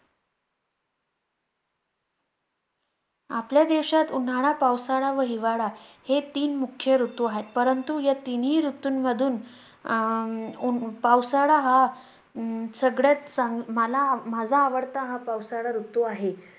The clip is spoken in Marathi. आपल्या देशात उन्हाळा, पावसाळा व हिवाळा हे तीन मुख्य ऋतू आहेत. परंतु या तिन्ही ऋतूंमधून अं उन्ह~ पावसाळा हा हम्म सगळ्यात चांगला मला आव~ माझा आवडता हा पावसाळा ऋतू आहे.